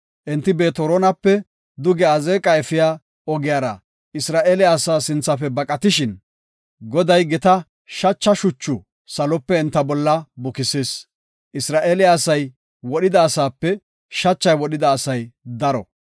Enti Beet-Horonape duge Azeeqa efiya ogiyara Isra7eele asaa sinthafe baqatishin, Goday gita shacha shuchu salope enta bolla bukisis. Isra7eele asay wodhida asape, shachay wodhida asay daro.